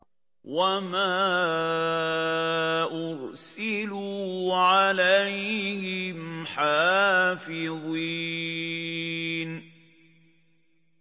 وَمَا أُرْسِلُوا عَلَيْهِمْ حَافِظِينَ